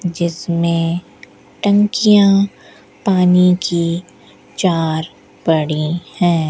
जिसमें टंकियां पानी की चार पड़ी हैं।